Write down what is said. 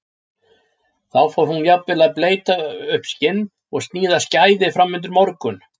Þá fór hún jafnvel að bleyta upp skinn og sníða skæði fram undir morgun.